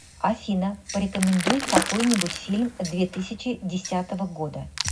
афина порекомендуй какой нибудь фильм две тысяча десятого года